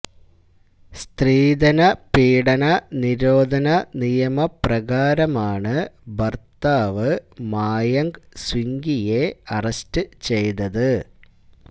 സ്ത്രീധനപീഡന നിരോധന നിയമപ്രകാരമാണ് ഭര്ത്താവ് മായങ്ക് സിംഗ്വിയെ അറസ്റ്റ് ചെയ്തത്